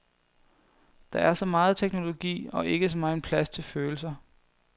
Der er så meget teknologi, og ikke så megen plads til følelser.